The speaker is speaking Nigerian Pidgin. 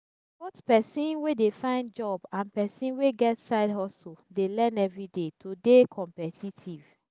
both persin wey de find job and persin wey get side hustle de learn everyday to de competitive